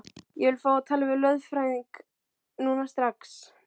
Ég vil fá að tala við lögfræðing núna, strax!